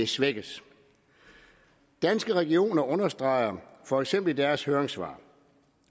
svækkes danske regioner understreger for eksempel i deres høringssvar